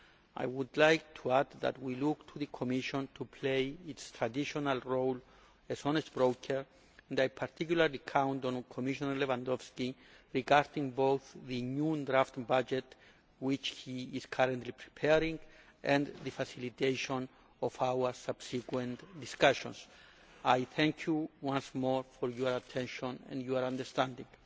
I would add that we look to the Commission to play its traditional role as honest broker, and I particularly count on Commissioner Lewandowski in relation to both the new draft budget, which he is currently preparing, and the facilitation of our subsequent discussions. I thank you once more for your attention and your understanding.